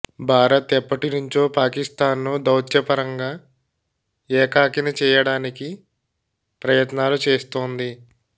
భారత్ ఎప్పటి నుంచో పాకిస్తాన్ను దౌత్యపరంగా ఏకాకిని చేయడానికి ప్రయత్నాలు చేస్తోంది